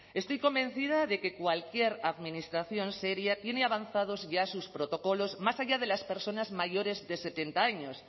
estoy convencida de que cualquier administración seria tiene avanzados ya sus protocolos más allá de las personas mayores de setenta años